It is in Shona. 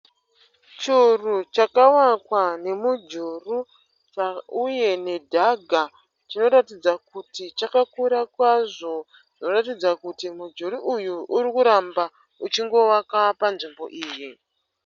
Churu chakawakwa nemujuru, uye nedhaga. Chinoratidza kuti chakakura kwazvo zvinoratidza kuti mujuru uyu urikuramba uchingovaka panzvimbo iyi.